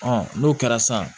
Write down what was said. n'o kɛra san